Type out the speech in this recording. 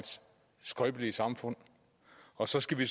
skrøbelige samfund og så skal vi